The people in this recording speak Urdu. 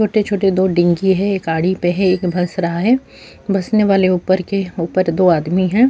چھوٹے چھوٹے دو ڈین گئے ہیں ایک گاڑی پہ ہے ایک پھنس رہا ہے بسنے والے کے اوپر دو ادمی ہیں-